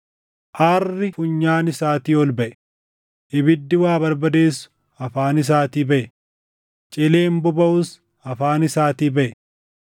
Aarri funyaan isaatii ol baʼe; ibiddi waa barbadeessu afaan isaatii baʼe; cileen bobaʼus afaan isaatii baʼe.